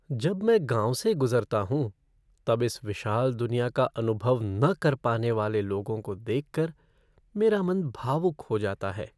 जब मैं गाँव से गुजरता हूँ, तब इस विशाल दुनियाँ का अनुभव न कर पाने वाले लोगों को देख कर मेरा मन भावुक हो जाता है।